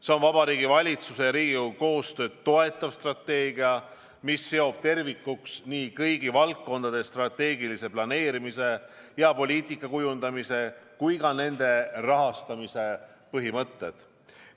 See on Vabariigi Valitsuse ja Riigikogu koostööd toetav strateegia, mis seob tervikuks nii kõigi valdkondade strateegilise planeerimise ja poliitika kujundamise kui ka kõige rahastamise põhimõtted.